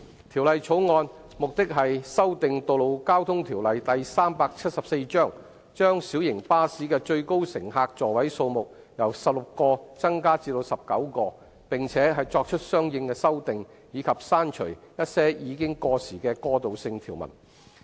《條例草案》旨在修訂《道路交通條例》，將小型巴士的最高乘客座位數目由16個增加至19個，並作出相應修訂，以及刪除一些已過時的過渡性條文。